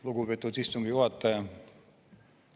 Lugupeetud istungi juhataja!